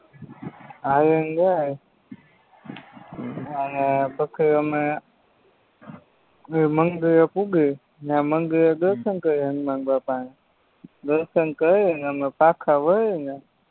હાલીન જાયે હમ અને પછી હમે બેય મંદિરે પુગી ન્યા મંદિરે દર્શનકરી હનુમાનબાપાના દર્શનકરી હમે પાછા વર્યેને